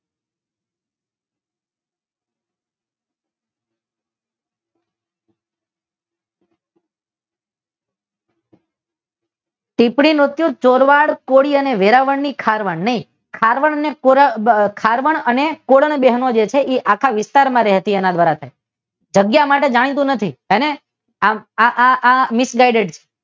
કે ફળિયું ચોરવાડ કોળી અને વેળાવદર ની ખારવા ને ખારવા ને અને ખારવા અને કોળણ બહેનો છે જેને આખા વિસ્તારમાં રહેતી એના દ્વારા થાય જગ્યા માટે જાણીતું નથી હે ને આ આ આ સમજાય